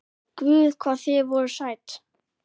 Guð hvað þið voruð sæt!